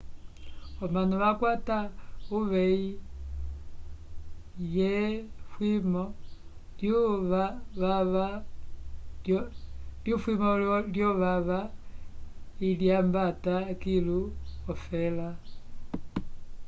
omanu vakwata uvehi lye fwimo lyo vava ilyambata kilu ofela